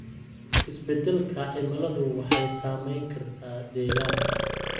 Isbeddelka cimiladu waxay saameyn kartaa deegaanka.